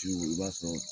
Ciw i b'a sɔrɔ